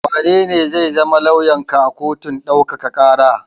Wanene zai zama lauyanka a kotun ɗaukaka ƙara?